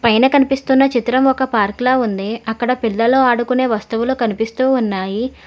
పైన కనిపిస్తున్న చిత్రం ఒక పార్క్ లా ఉంది అక్కడ పిల్లలు ఆడుకొనే వస్తువులు కనిపిస్తూ ఉన్నాయి.